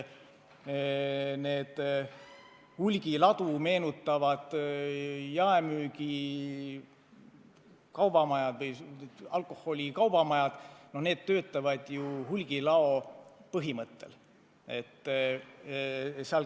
Need hulgiladu meenutavad alkoholi jaemüügi kaubamajad töötavad ju hulgilao põhimõttel.